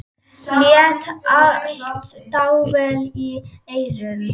Lét allt dável í eyrum.